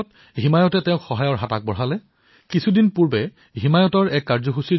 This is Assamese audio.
ফিয়াজ আহমেদৰ স্নাতক পৰ্যায়ৰ অধ্যয়ন একে সময়তে তেওঁ অব্যাহত ৰাখি এতিয়া সেয়া সমাপ্ত হোৱাৰ পথত আগবাঢ়িছে